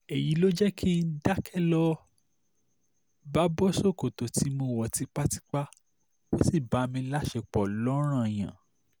èyí ló jẹ́ kí n dákẹ́ lọ bá bọ́ ṣòkòtò tí mo wọ̀ tipátipá ó sì bá mi láṣepọ̀ lọ́ran-an-yàn